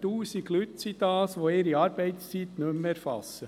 Das sind 1000 Leute, die ihre Arbeitszeit nicht mehr erfassen.